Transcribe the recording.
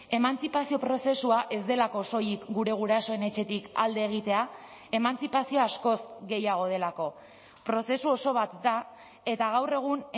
emantzipazio prozesua ez delako soilik gure gurasoen etxetik alde egitea emantzipazioa askoz gehiago delako prozesu oso bat da eta gaur egun